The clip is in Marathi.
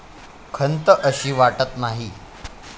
खंत अशी वाटत नाही.